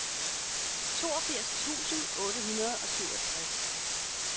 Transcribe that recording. toogfirs tusind otte hundrede og syvogtres